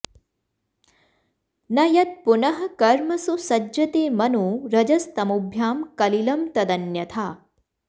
न यत्पुनः कर्मसु सज्जते मनो रजस्तमोभ्यां कलिलं तदन्यथा